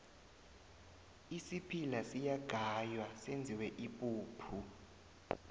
isiphila siyagaywa senziwe ipuphu